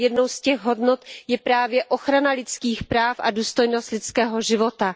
Jednou z těch hodnot je právě ochrana lidských práv a důstojnost lidského života.